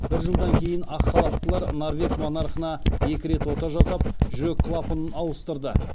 бір жылдан кейін ақ халаттылар норвег монархына екі рет ота жасап жүрек клапанын ауыстырды